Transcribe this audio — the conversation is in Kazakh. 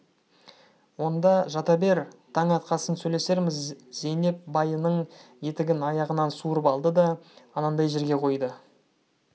онда жата бер таң атқасын сөйлесерміз зейнеп байының етігін аяғынан суырып алды да анандай жерге қойды